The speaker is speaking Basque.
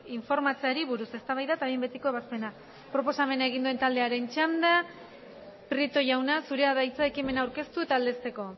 informatzeari buruz eztabaida eta behin betiko ebazpena proposamena egin duen taldearen txanda prieto jauna zurea da hitza ekimena aurkeztu eta aldezteko